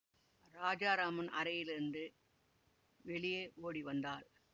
ராஜாராமன் அறையிலிருந்து வெளியே ஓடி வந்தான்